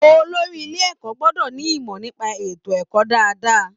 Olórí ilé ẹ̀kọ́ gbọ́dọ̀ ní ìmọ̀ nípa ètò ẹ̀kọ́ dáadáa